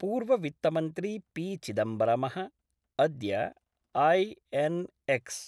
पूर्ववित्तमन्त्री पी.चिदम्बरमः अद्य आई.एन्.एक्स्